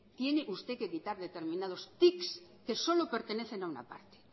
tiene usted que quitar determinados tics que solo pertenecen a una parte